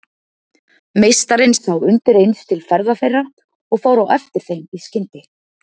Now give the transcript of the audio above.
Meistarinn sá undir eins til ferða þeirra og fór á eftir þeim í skyndi.